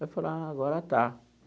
Eu falei, ah agora está.